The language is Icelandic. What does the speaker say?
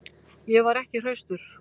Ég var ekki hraustur.